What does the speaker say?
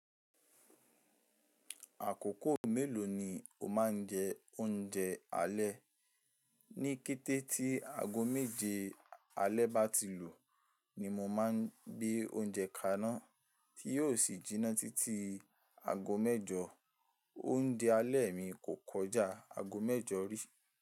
Àkókò mélòó ni o máa ń jẹ oúnjẹ alẹ́? Ní kété tí aago méje alẹ́ bá ti lù, ni mo máa ń gbé oúnjẹ kaná tí yóò sì jinná títí aago mẹ́jọ. Oúnjẹ alẹ́ mi kò kọjá aago mẹ́jọ rí.